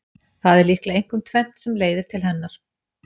Það er líklega einkum tvennt sem leiðir til hennar.